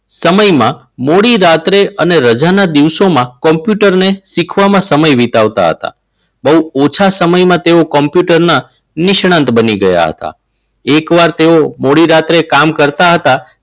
સમયમાં મોડી રાત્રે અને રજાના દિવસોમાં કોમ્પ્યુટરને શીખવામાં સમય વિતાવતા હતા. બહુ ઓછા સમયમાં તેઓ કોમ્પ્યુટરના નિષ્ણાંત બની ગયા હતા. એકવાર તેઓ મોડી રાત્રે કામ કરતા હતા.